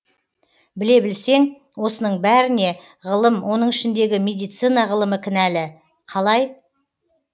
біле білсең осының бәріне ғылым оның ішіндегі медицина ғылымы кінәлі қалай